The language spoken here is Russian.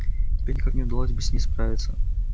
тебе никак не удалось бы с ней справиться